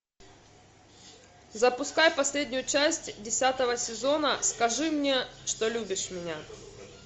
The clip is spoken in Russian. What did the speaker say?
запускай последнюю часть десятого сезона скажи мне что любишь меня